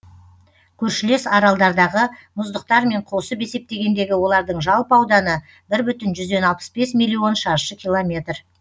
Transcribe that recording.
көршілес аралдардағы мұздықтармен қосып есептегендегі олардың жалпы ауданы бір бүтін жүзден алпыс бес миллион шаршы километр